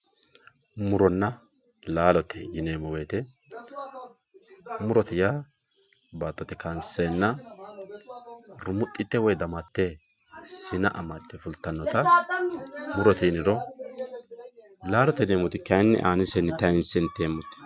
muronna laalote yineemo woyiite murote yaa baatote kaanseena rumuxite woye damate, sina amadde fulttannota murote yiniro laalote yineemoti kayiini aanisenni tayiinse iteemote.